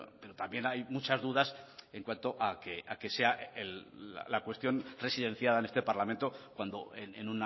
pero también hay muchas dudas en cuanto a que sea la cuestión residenciada en este parlamento cuando en